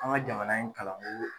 An ka jamana in kalanko